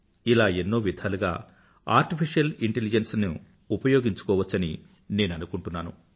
ఇలా ఎన్నో విధాలుగా ఆర్టిఫిషియల్ ఇంటెలిజెన్స్ ను ఉపయోగించుకోవచ్చని నేను అనుకుంటున్నాను